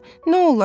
nə olar?